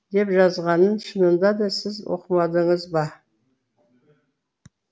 деп жазғанын шынында да сіз оқымадыңыз ба